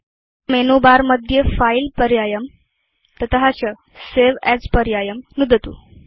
अथ मेनुबारमध्ये फिले पर्यायं तत च सवे अस् पर्यायं नुदतु